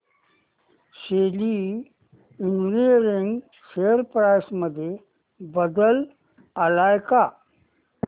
शेली engineering share price मध्ये बदल आलाय का